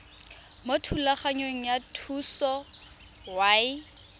mo thulaganyong ya thuso y